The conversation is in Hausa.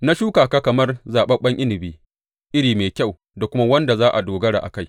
Na shuka ka kamar zaɓaɓɓen inabi iri mai kyau da kuma wanda za a dogara a kai.